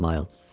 İsmayıl.